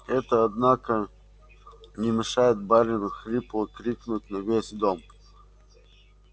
это однако не мешает барину хрипло крикнуть на весь дом